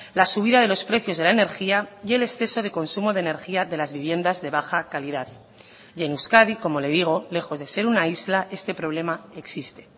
la subida de los precios de la energía y el exceso de consumo de energía de las viviendas de baja calidad y en euskadi como le digo lejos de ser una isla este problema existe